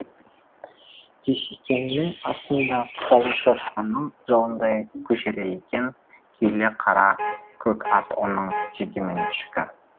дүйсекеңнің астында жалы шошқаның жалындай күжірейген күйлі қара көк ат оның жекеменшігі